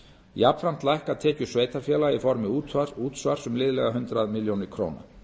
jafnframt lækka tekjur sveitarfélaga í formi útsvars um liðlega hundrað milljónir króna